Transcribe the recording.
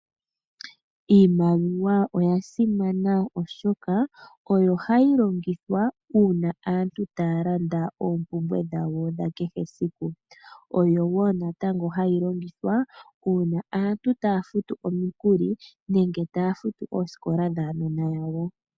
Iimaliwa oya simana oshoka oyo hayi longithwa uuna aantu taya landa oompumbwe dhawo dha kehe siku. Oyo wo natango hayi longithwa uuna aantu taya futu omikuli nenge taya futu oosikola dhaanona yayo.